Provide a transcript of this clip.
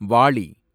வாளி